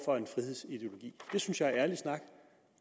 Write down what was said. for en frihedsideologi det synes jeg er ærlig snak